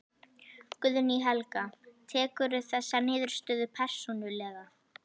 Guðný Helga: Tekurðu þessa niðurstöðu persónulega?